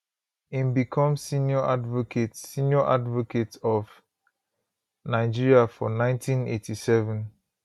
im become senior advocate senior advocate of nigeria for 1987